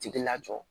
Tigi lajɔ